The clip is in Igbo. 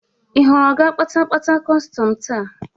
Ị hụrụ ọga kpatapata kọstọm taa?